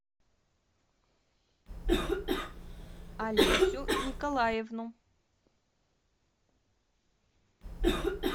олесю николаевну